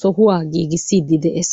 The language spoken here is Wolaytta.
sohuwaa giigissiidi de'es.